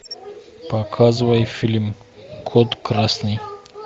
показывай фильм код красный